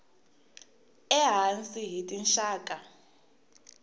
e hansi hi tinxaka